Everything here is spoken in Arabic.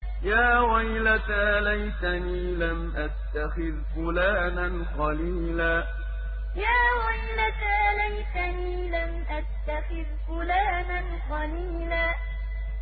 يَا وَيْلَتَىٰ لَيْتَنِي لَمْ أَتَّخِذْ فُلَانًا خَلِيلًا يَا وَيْلَتَىٰ لَيْتَنِي لَمْ أَتَّخِذْ فُلَانًا خَلِيلًا